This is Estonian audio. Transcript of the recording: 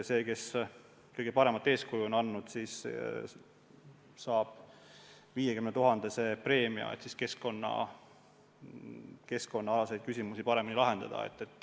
See, kes kõige paremat eeskuju on andnud, saab 50 000-eurose preemia, et keskkonnaalaseid küsimusi paremini lahendada.